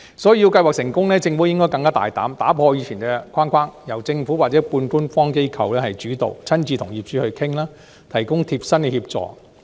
所以，要計劃取得成功，政府應該更大膽，打破以前的框架，由政府或半官方機構主導，親自與業主商討，提供貼身協助。